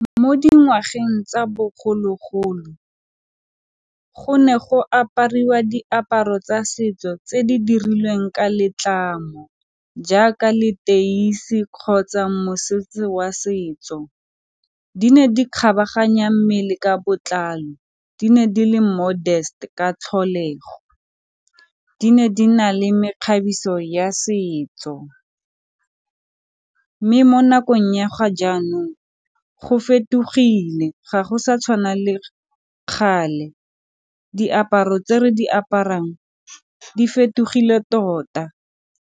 Mo dingwageng tsa bogologolo go ne go apariwa diaparo tsa setso tse di dirilweng ka letlamo jaaka leteisi kgotsa mosese wa setso. Di ne di kgabaganya mmele ka botlalo, di ne di le modest ka tlholego. Di ne di na le mekgabiso ya setso mme mo nakong ya ga jaanong go fetogile ga go sa tshwana le kgale, diaparo tse re di aparang di fetogile tota.